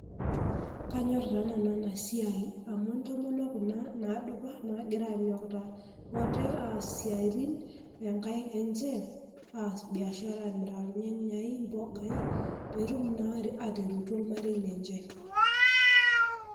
Kanyorr taa nanu ena siai amu intomonok kuna naadupa, naagira anyokita ate aas isiatin oonkaik enye aas biashara aamirr ilnyanya ompuka pee etum naa ataretu ormarei lenye.